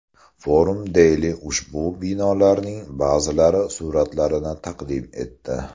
Forum Daily ushbu binolarning ba’zilari suratlarini taqdim etdi .